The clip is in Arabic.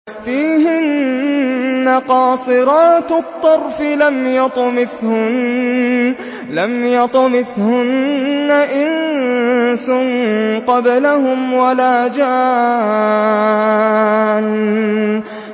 فِيهِنَّ قَاصِرَاتُ الطَّرْفِ لَمْ يَطْمِثْهُنَّ إِنسٌ قَبْلَهُمْ وَلَا جَانٌّ